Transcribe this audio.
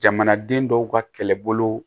Jamanaden dɔw ka kɛlɛbolo